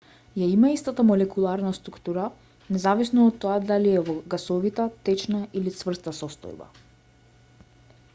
ја има истата молекуларна структура независно од тоа дали е во гасовита течна или цврста состојба